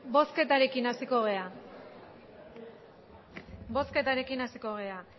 bozketarekin hasiko gera